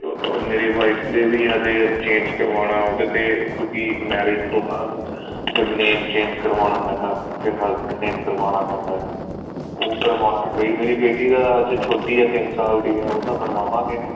ਮੇਰੀ ਦਾ ਵੀ ਹਜੇ change ਕਰਵਾਉਣਾ ਉਹ ਕਿਤੇ ਕਿਉਂਕਿ marriage ਤੋਂ ਬਾਅਦ ਫ਼ੇਰ name change ਕਰਵਾਉਣਾ ਪੈਂਦਾ ਫ਼ੇਰ husband name ਕਰਵਾਉਣਾ ਪੈਂਦਾ ਹੈ ਉਹ ਕਰਵਾਉਣਾ ਮੇਰੀ ਬੇਟੀ ਦਾ ਛੋਟੀ ਹੈ ਤਿੰਨ ਸਾਲ ਦੀ ਉਹਦਾ ਬਣਵਾਗੇ